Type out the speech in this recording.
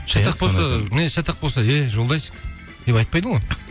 мінезі шатақ болса эй жолдасик деп айтпайды ғой